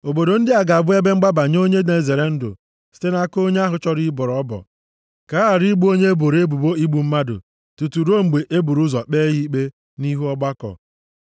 Obodo ndị a ga-abụ ebe mgbaba nye onye na-ezere ndụ site nʼaka onye ahụ chọrọ ịbọrọ ọbọ, + 35:12 Onye ọbụla ga-abọrọ ọbọ a, ga-abụ nwanne onye e gburu egbu. ka a ghara igbu onye e boro ebubo igbu mmadụ tutu ruo mgbe e buru ụzọ kpee ya ikpe nʼihu ọgbakọ.